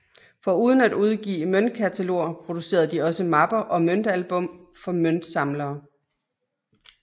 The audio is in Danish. Foruden at udgive møntkataloger producerede de også mapper og møntalbum for møntsamlere